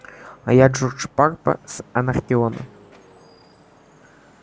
а я джордж парма с анакреона